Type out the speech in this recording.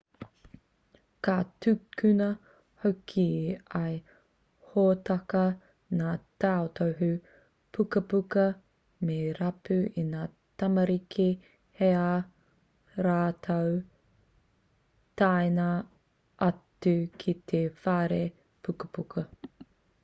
ka tukuna hoki e ia hōtaka ngā tautohu pukapuka me rapu e ngā tamariki hei ā rātou taenga atu ki te whare pukapuka